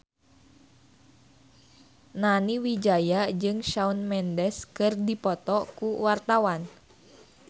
Nani Wijaya jeung Shawn Mendes keur dipoto ku wartawan